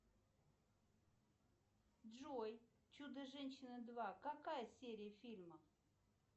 джой чудо женщина два какая серия фильма